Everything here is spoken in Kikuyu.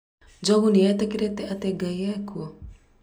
Njogu nĩetĩkirĩe atĩ ngai ekuo?